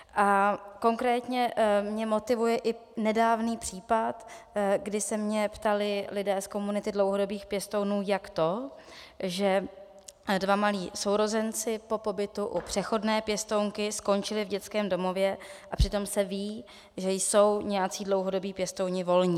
A konkrétně mě motivuje i nedávný případ, kdy se mě ptali lidé z komunity dlouhodobých pěstounů, jak to, že dva malí sourozenci po pobytu u přechodné pěstounky skončili v dětském domově, a přitom se ví, že jsou nějací dlouhodobí pěstouni volní.